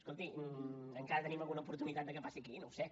escolti encara tenim alguna oportunitat que passi aquí no ho sé